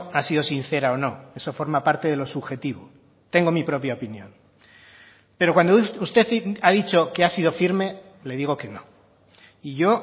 ha sido sincera o no eso forma parte de lo subjetivo tengo mi propia opinión pero cuando usted ha dicho que ha sido firme le digo que no y yo